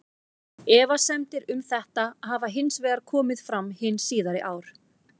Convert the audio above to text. Efasemdir um þetta hafa hins vegar komið fram hin síðari ár.